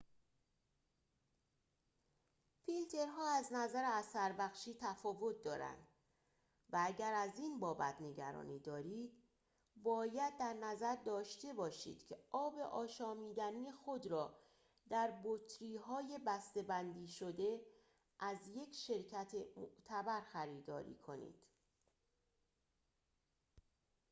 فیلترها از نظر اثربخشی تفاوت دارند و اگر از این بابت نگرانی دارید باید در نظر داشته باشید که آب آشامیدنی خود را در بطری‌های بسته‌بندی شده از یک شرکت معتبر خریداری کنید